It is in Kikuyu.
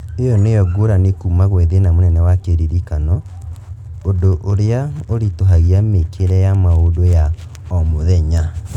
ĩyo nĩyo ngũrani kuma gwĩ thĩna mũnene wa kĩririkano, ũndũ ũrĩa ũritũhagia mĩkĩre ya maũndũ ya o mũthenya